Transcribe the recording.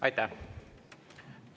Aitäh!